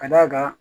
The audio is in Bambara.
Ka d'a kan